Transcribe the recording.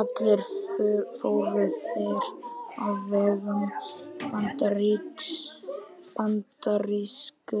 Allir fóru þeir á vegum bandarísku